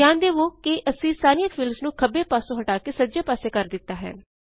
ਧਿਆਨ ਦਵੋ ਕੇ ਅਸੀਂ ਸਾਰੀਆਂ ਫੀਲਡਸ ਨੂੰ ਖੱਬੇ ਪਾਸੋਂ ਹਟਾ ਕੇ ਸੱਜੇ ਪਾਸੇ ਕਰ ਦਿੱਤਾ ਹੈ